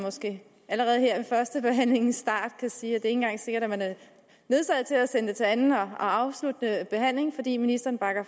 allerede her ved førstebehandlingens start kan sige at engang er sikkert at man er nødsaget til at til anden og afsluttende behandling fordi ministeren